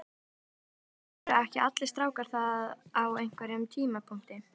Gylfi Sigurðsson: Eru ekki allir strákar það á einhverjum tímapunkti?